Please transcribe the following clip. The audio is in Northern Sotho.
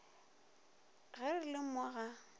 ge re le mo ga